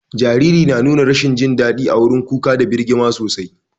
Jariri na nuna rashin jin dadi a wurin kuka da birgima sosai.